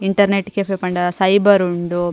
Internet cafe ಪಂಡ cyber ಉಂಡು.